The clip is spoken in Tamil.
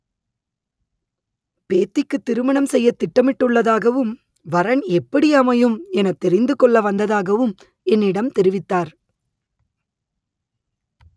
பேத்திக்கு திருமணம் செய்ய திட்டமிட்டு உள்ளதாகவும் வரன் எப்படி அமையும் எனத் தெரிந்து கொள்ள வந்ததாகவும் என்னிடம் தெரிவித்தார்